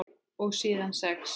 Og síðan sex?